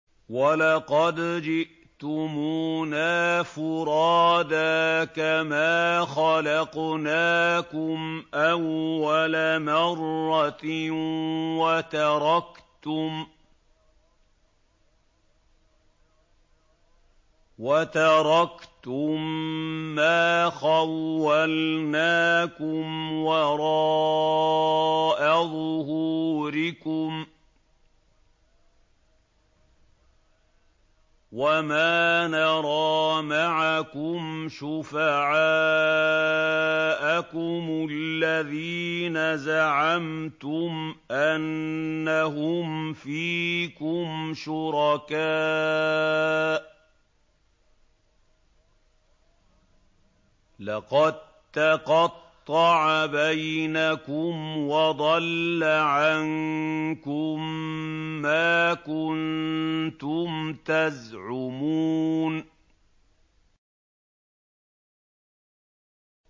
وَلَقَدْ جِئْتُمُونَا فُرَادَىٰ كَمَا خَلَقْنَاكُمْ أَوَّلَ مَرَّةٍ وَتَرَكْتُم مَّا خَوَّلْنَاكُمْ وَرَاءَ ظُهُورِكُمْ ۖ وَمَا نَرَىٰ مَعَكُمْ شُفَعَاءَكُمُ الَّذِينَ زَعَمْتُمْ أَنَّهُمْ فِيكُمْ شُرَكَاءُ ۚ لَقَد تَّقَطَّعَ بَيْنَكُمْ وَضَلَّ عَنكُم مَّا كُنتُمْ تَزْعُمُونَ